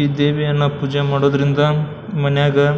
ಈ ದೇವಿಯನ್ನ ಪೂಜೆ ಮಾಡೋದ್ರಿಂದ ಮನೆಯಾಗ --